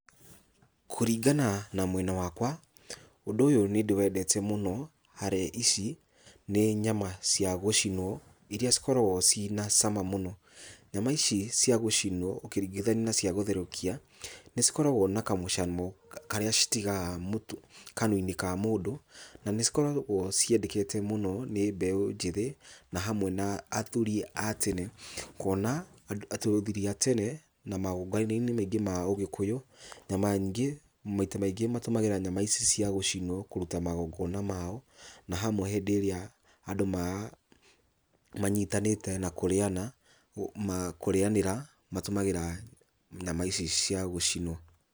Kũringana na mwena wakwa, ũndũ ũyũ nĩndĩwendete mũno harĩa ici nĩ nyama cia gũcinwo, iria cikoragwo ciĩna cama mũno. Nyama ici cia gũcinwo ũkĩringithania na cia gũtherũkia, nĩcikoragwo na kamũcamo karĩa citigaga kanua-inĩ ka mũndũ, na nĩcikoragwo ciendekete mũno nĩ mbeũ njĩthĩ na hamwe na athuri a tene kuona atĩ athuri a tene na magongona-inĩ maingĩ ma Ũgĩkũyũ, nyama nyingĩ, maita maingĩ matũmagĩra nyama ici cia gũcinwo kũruta magongona mao, na hamwe hĩndĩ ĩrĩa andũ manyitanĩte na kũrĩana, kũrĩanĩra matũmagĩra nyama ici cia gũcinwo.